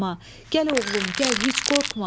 Gəl oğlum, gəl, heç qorxma.